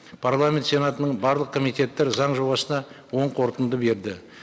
парламент сенатының барлық комитеттері заң жобасына оң қорытынды берді